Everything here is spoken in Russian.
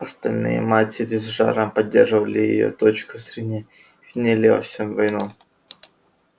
остальные матери с жаром поддерживали её точку зрения и винили во всем войну